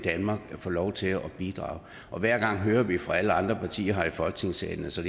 få lov til at bidrage og hver gang hører vi fra alle andre partier her i folketingssalen at så